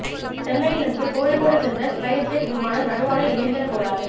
சென்னையில் இருந்து கோழிக்கோடு சென்ற ஸ்பைஸ்ஜெட் விமானம் நடுவானில் இயந்திர கோளாறு